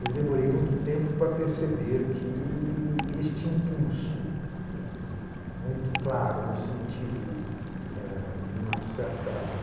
Eu demorei muito tempo para perceber que este impulso, né, muito claro no sentido eh de uma certa